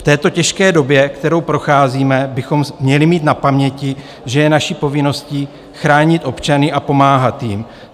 V této těžké době, kterou procházíme, bychom měli mít na paměti, že je naší povinností chránit občany a pomáhat jim.